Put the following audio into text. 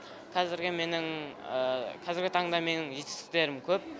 қазіргі менің қазіргі таңда менің жетістіктерім көп